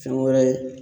Fɛn wɛrɛ ye